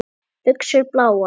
Buxur bláar.